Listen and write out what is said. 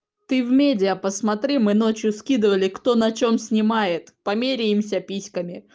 ты в медиа посмотри мы ночью скидывали кто на чем снимает померяемся письками